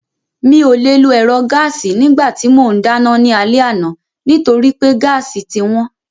Mi ò le lo ẹ̀rọ gáàsì nígbà tí mò ń dáná ní alẹ́ àná nítorí pé gáàsì ti wọ́n